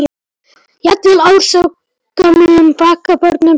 Jafnvel ársgömlum braggabörnum tókst alltaf að bjarga.